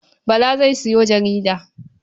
Bala zai sayo jarida.